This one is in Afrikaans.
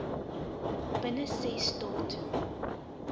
binne ses tot